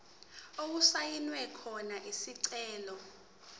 okusayinwe khona isicelo